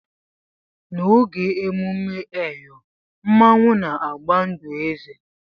N'oge ememme eyọ, Mmanwu na-agba ndụ eze.